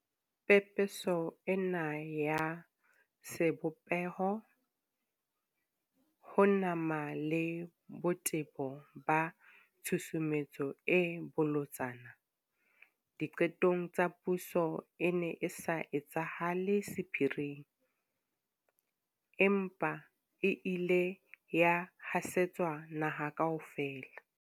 Pepeso ena ya sebopeho, ho nama le botebo ba tshusumetso e bolotsana diqetong tsa puso e ne e sa etsahale sephiring, empa e ile ya hasetswa naha kaofela.